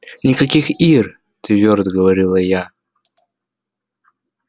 никаких ир твёрдо говорила я